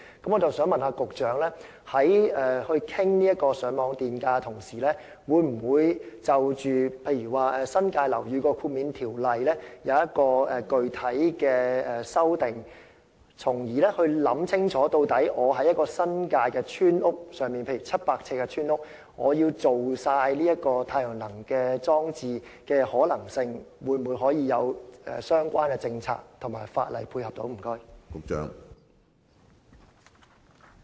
我想問局長，在討論上網電價時，會否就新界樓宇豁免的條例作具體修訂，從而考慮清楚，例如若我想在新界一間面積為700呎的村屋中全面使用太陽能裝置的可行性，政府會否有相關政策和法例配合？